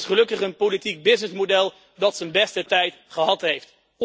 Maar het is gelukkig een politiek businessmodel dat z'n beste tijd gehad heeft.